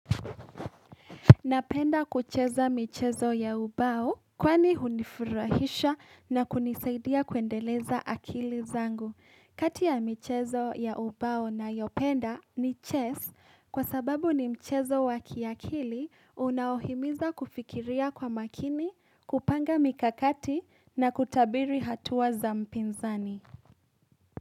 Napenda kucheza michezo ya ubao kwani hunifurahisha na kunisaidia kuendeleza akili zangu. Kati ya michezo ya ubao nayopenda ni chess kwa sababu ni mchezo wa kiakili unaohimiza kufikiria kwa makini, kupanga mikakati na kutabiri hatua za mpinzani.